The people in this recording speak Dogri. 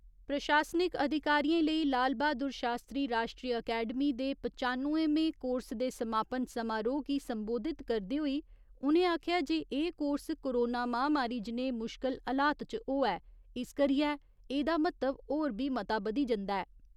प्रशासनिक अधिकारिएं लेई लाल बहादुर शास्त्री राश्ट्री अकैडमी दे पचानुएमें कोर्स दे समापन समारोह् गी संबोधित करदे होई उ'नें आखेआ जे एह् कोर्स कोरोना महामारी जनेह् मुश्कल हलात च होआ ऐ इस करियै एह्दा म्हत्व होर बी मता बधी जंदा ऐ।